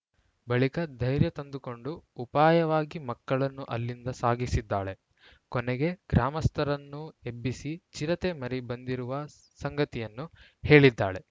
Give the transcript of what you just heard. ಬಳಿಕ ಧೈರ್ಯತಂದು ಕೊಂಡು ಉಪಾಯವಾಗಿ ಮಕ್ಕಳನ್ನು ಅಲ್ಲಿಂದ ಸಾಗಿಸಿದ್ದಾಳೆ ಕೊನೆಗೆ ಗ್ರಾಮಸ್ಥರನ್ನು ಎಬ್ಬಿಸಿ ಚಿರತೆ ಮರಿ ಬಂದಿರುವ ಸಂಗತಿಯನ್ನು ಹೇಳಿದ್ದಾಳೆ